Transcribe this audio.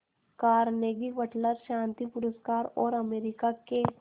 Carnegie Wateler शांति पुरस्कार और अमेरिका के